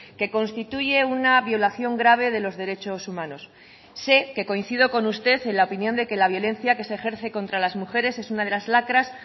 que constituye una violación grave de los derechos humanos sé que coincido con usted en la opinión de que la violencia que se ejerce contra las mujeres es una de las lacras